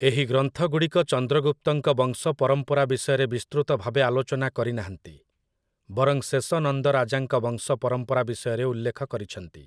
ଏହି ଗ୍ରନ୍ଥଗୁଡ଼ିକ ଚନ୍ଦ୍ରଗୁପ୍ତଙ୍କ ବଂଶପରମ୍ପରା ବିଷୟରେ ବିସ୍ତୃତ ଭାବେ ଆଲୋଚନା କରିନାହାନ୍ତି, ବରଂ ଶେଷ ନନ୍ଦ ରାଜାଙ୍କ ବଂଶପରମ୍ପରା ବିଷୟରେ ଉଲ୍ଲେଖ କରିଛନ୍ତି ।